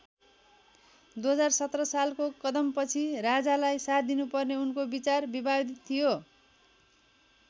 २०१७ सालको कदमपछि राजालाई साथ दिनुपर्ने उनको विचार विवादित थियो।